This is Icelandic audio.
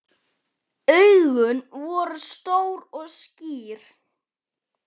Augun voru stór og skýr.